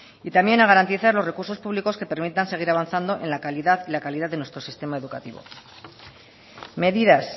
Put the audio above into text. y también a garantizar los recursos públicos que permitan seguir avanzando en la calidad y la calidad de nuestro sistema educativo medidas